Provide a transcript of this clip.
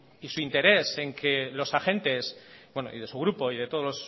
y su interés en que los agentes bueno y de su grupo y de todos